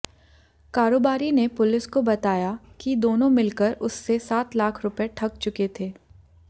कारोबारी ने पुलिस को बताया कि दोनों मिलकर उससे सात लाख रुपए ठग चुके थे